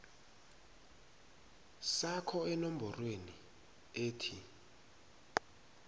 sakho enomborweni ethi